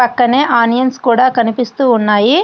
పక్కనే ఆనియన్స్ కూడా కనిపిస్తూ ఉన్నాయి.